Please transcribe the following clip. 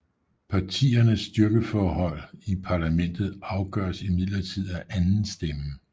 Partiernes styrkeforhold i parlamentet afgøres imidlertid af andenstemmen